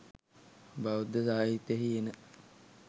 බෞද්ධ සාහිත්‍යයෙහි එන